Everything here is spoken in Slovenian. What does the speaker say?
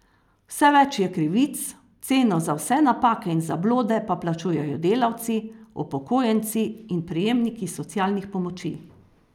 Vse več je krivic, ceno za vse napake in zablode pa plačujejo delavci, upokojenci in prejemniki socialnih pomoči.